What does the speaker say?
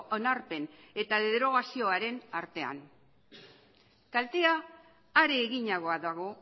onarpen eta derogazioaren artean kaltea are eginagoa dago